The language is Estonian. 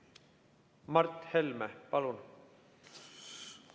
Mart Helme, palun!